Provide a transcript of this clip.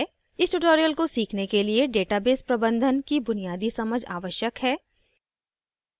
इस tutorial को सीखने के लिए database प्रबंधन की बुनियादी समझ आवश्यक है